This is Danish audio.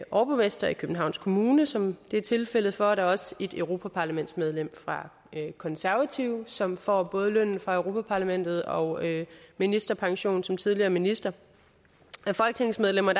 overborgmester i københavns kommune som det er tilfældet for og der er også et europaparlamentsmedlem fra konservative som får både løn fra europa parlamentet og ministerpension som tidligere minister af folketingsmedlemmer